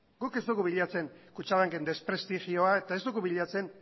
guk ez dugu bilatzen kutxabanken desprestigioa eta ez dugu bilatzen